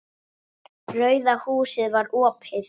Rauða húsið var opið.